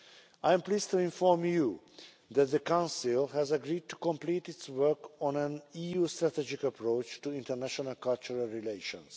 I am pleased to inform you that the Council has agreed to complete its work on an EU strategic approach to international cultural relations.